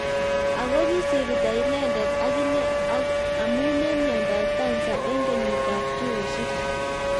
ako kisito inendet akine amo mionodop cancer eng kienyit ab 2006